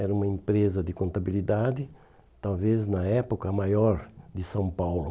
Era uma empresa de contabilidade, talvez na época a maior de São Paulo.